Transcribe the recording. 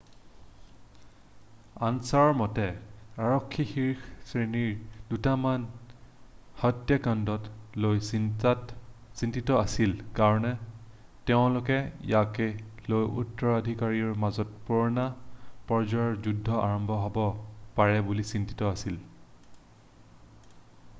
"Answer মতে "আৰক্ষী শীৰ্ষ শ্ৰেণীৰ দুটামান হত্যাকাণ্ডক লৈ চিন্তিত আছিল কাৰণ তেওঁলোকে ইয়াক লৈ উত্তৰাধিকাৰীৰ মাজত পূৰ্ণ পৰ্যায়ৰ যুদ্ধ আৰম্ভ হ'ব পাৰে বুলি চিন্তিত আছিল।""